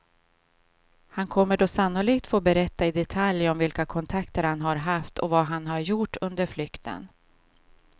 Han kommer då sannolikt få berätta i detalj om vilka kontakter han har haft och vad han har gjort under flykten.